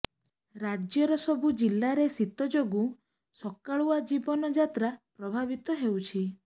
ରାଜ୍ୟର ସବୁ ଜିଲ୍ଲାରେ ଶୀତ ଯୋଗୁଁ ସକାଳୁଆ ଜୀବନ ଯାତ୍ରା ପ୍ରଭାବିତ ହେଉଛି